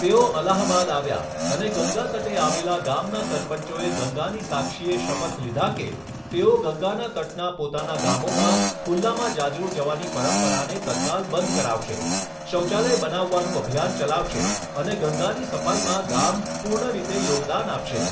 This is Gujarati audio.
તેઓ અલાહાબાદ આવ્યા અને ગંગા તટે આવેલા ગામના સરપંચોએ ગંગાની સાક્ષીએ શપથ લીધા કે, તેઓ ગંગાના તટના પોતાના ગામોમાં ખૂલ્લામાં જાજરૂ જવાની પંરપરાને તત્કાલ બંધ કરાવશે, શૌચાલય બનાવવાનું અભિયાન ચલાવશે અને ગંગાની સફાઈમાં ગામ પૂર્ણ રીતે યોગદાન આપશે.